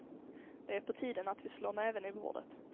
Det är på tiden att vi slår näven i bordet.